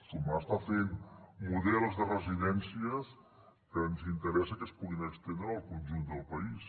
sumar està fent models de residències que ens interessa que es puguin estendre al conjunt del país